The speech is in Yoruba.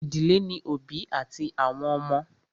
Ìdílé ní òbí àti àwọn ọmọ.